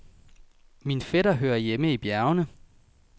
Min fætter hører hjemme i bjergene.